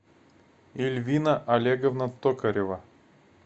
эльвина олеговна токарева